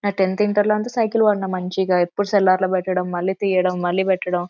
న tenth inter లో అంత సైకిల్ వాడిన మంచిగా ఇపుడు సెల్లార్లు పెట్టడం మల్లి తీయడం మాలి పెట్టడం --